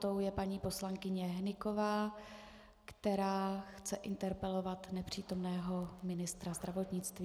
Tou je paní poslankyně Hnyková, která chce interpelovat nepřítomného ministra zdravotnictví.